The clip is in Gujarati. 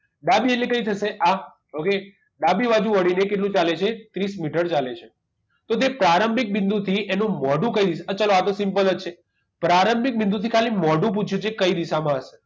ડાબી એટલે કઈ થશે આ okay ડાબી બાજુ વળી ને કેટલું ચાલે છે ત્રીસ મીટર ચાલે છે તો તે પ્રારંભિક બિંદુથી એનું મોઢું કઈ ચલો આ તો simple જ છે પ્રારંભિક બિંદુ થી ખાલી મોઢું પૂછ્યું છે કઈ દિશામાં હશે